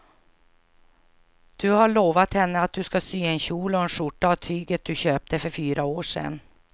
Du har lovat henne att du ska sy en kjol och skjorta av tyget du köpte för fyra år sedan.